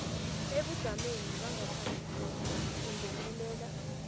ebujameni bangaphambilini kungenelela